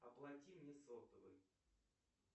оплати мне сотовый